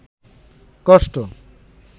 কষ্ট